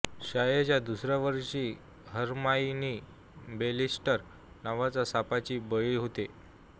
शाळेच्या दुसऱ्या वर्षी हरमायनी बेसिलिस्क नावाच्या सापाची बळी होते